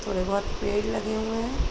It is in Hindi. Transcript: थोड़े बहोत पेड़ लगे हुएं हैं।